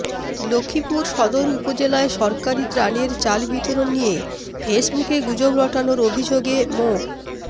লক্ষ্মীপুর সদর উপজেলায় সরকারি ত্রাণের চাল বিতরণ নিয়ে ফেসবুকে গুজব রটানোর অভিযোগে মো